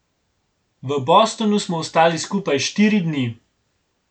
V Bostonu smo ostali skupaj štiri dni.